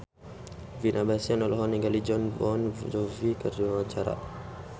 Vino Bastian olohok ningali Jon Bon Jovi keur diwawancara